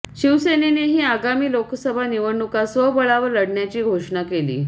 शिवसेनेनेही आगामी लोकसभा निवडणुका स्वबळावर लढण्याची घोषणा केली